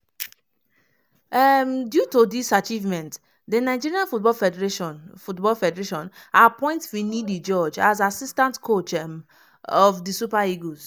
um due to dis achievement di nigeria football federation football federation appoint finidi george as assistant coach um of di super eagles.